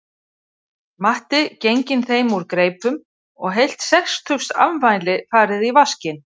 Matti genginn þeim úr greipum og heilt sextugsafmæli farið í vaskinn